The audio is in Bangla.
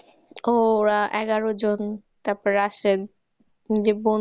ও ওরা এগারো জন তারপর আসেন